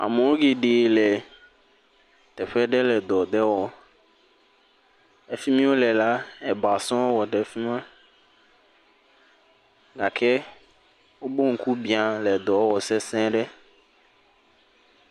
Amewo yi ɖe le teƒe aɖe le dɔ aɖe wɔm. Efi mi wole la, eba sɔŋ wɔ ɖe afi ma gake wobe ŋku bia wole edɔ wɔ sese ɖe.